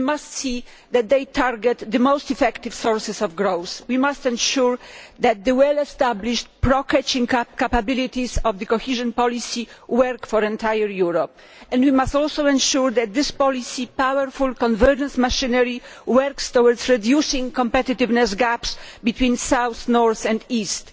We must see that they target the most effective sources of growth. We must ensure that the well established pro catching up capabilities of cohesion policy work for all of Europe and we must also ensure that this policy powerful convergence machinery works towards reducing competitiveness gaps between south, north and east.